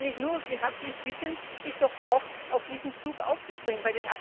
Da kann ich Sie nur herzlich bitten, doch auch auf diesen Zug aufzuspringen.